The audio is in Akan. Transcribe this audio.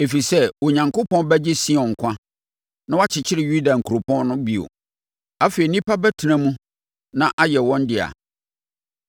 ɛfiri sɛ Onyankopɔn bɛgye Sion nkwa na wakyekyere Yuda nkuropɔn no bio. Afei nnipa bɛtena mu na ayɛ wɔn dea;